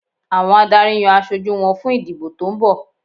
Àwọn adarí yan aṣojú wọn fún ìdìbò tó ń bọ̀